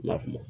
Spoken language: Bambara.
I n'a faamu